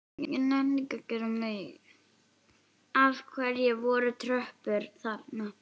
Af hverju voru tröppur þarna?